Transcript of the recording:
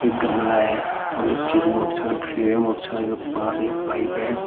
एक गमला है और नीचे में एक मोटरसाइकिल खड़ी हुई है मोटरसाइकल के पास एक पाइप है।